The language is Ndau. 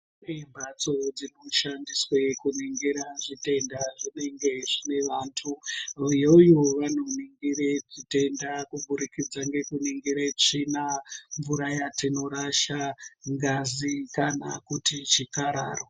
Kune mbatso dzinoshandiswe kuningira zvitenda zvinenge zvinevantu iyoyo vanoningire zvitenda kuburikidza ngekuningire tsvina, mvura yatinorasha , ngazi kana kuti chikararwa.